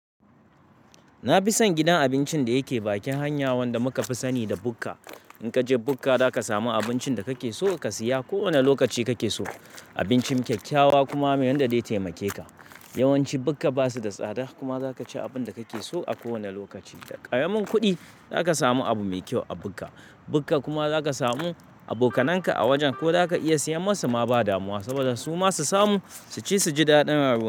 Na fi son gidan abincin da yake bakin hanya wanda muka fi sani da bukka. In ka je bukka, za ka samu abincin da kake so ka siya ko wane lokaci kake so. Abincin kyakkyawa kuma mai yanda zai taimake ka. Yawanci bukka ba su da tsada kuma za ka ci abin da kake so a kowane lokaci. Da ƙaramin kuɗi za ka samu abu mai kyau a bukka. Bukka kuma za ka samu abokananka a wajen ko za ka iya siya masu ma ba damuwa, saboda su ma su samu su ci su ji daɗin rayuwa.